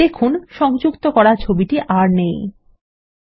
দেখুন সংযুক্ত করা ছবিটি আর নেই160